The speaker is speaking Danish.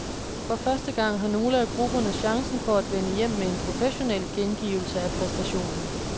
For første gang har nogle af grupperne chancen for at vende hjem med en professionel gengivelse af præstationen.